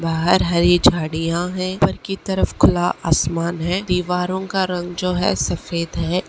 बाहर हरी झाइयाँ है ऊपर की तरफ खुला आसमान है दीवारों का रंग जो है सफेद है।